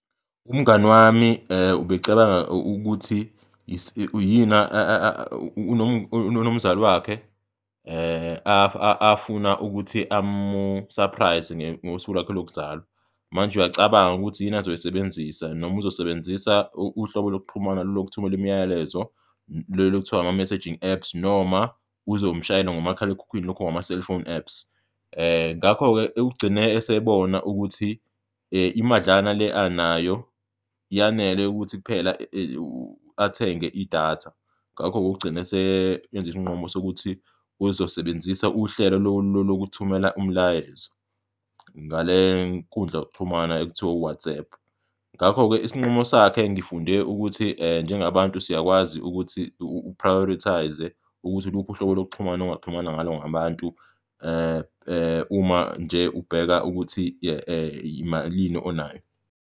Umngani wami ubecabanga ukuthi unomzali wakhe afuna ukuthi amu-surprise-e ngosuku lwakhe lokuzalwa manje uyacabanga ukuthi yini azoyisebenzisa, noma uzosebenzisa uhlobo lokuxhumana lokuthumela imiyalezo lolu okuthiwa ama-messaging apps noma uzomshayela ngomakhalekhukhwini lokho ngama-cellphone apps. Ngakho-ke ugcine esebona ukuthi imadlana le anayo yanele ukuthi kuphela athenge idatha, ngakho-ke ukugcine eseyenze isinqumo sokuthi uzosebenzisa uhlelo lokuthumela umlayezo ngale nkundla yokuxhumana ekuthiwa u-WhatsApp. Ngakho-ke isinqumo sakhe ngifunde ukuthi njengabantu siyakwazi ukuthi u-prioritize-e ukuthi uluphi uhlobo lokuxhumana ongaxhumana ngalo ngabantu uma nje ubheka ukuthi malini onayo.